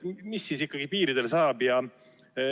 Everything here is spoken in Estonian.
Mis siis ikkagi piiridel saab?